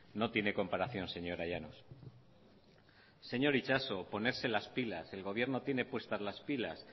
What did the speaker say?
no tiene comparación señora llanos señor itxaso ponerse las pilas el gobierno tiene puestas las pilas